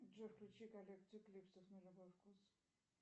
джой включи коллекцию клипсов на любой вкус